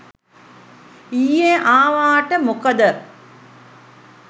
ඊයෙ ආවාට මොකද